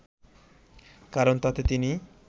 কারণ তাতে তিনি